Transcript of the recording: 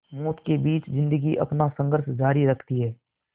मौत के बीच ज़िंदगी अपना संघर्ष जारी रखती है